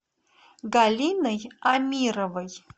галиной амировой